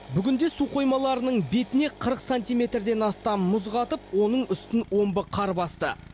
бүгінде су қоймаларының бетіне қырық сантиметрден астам мұз қатып оның үстін омбы қар басты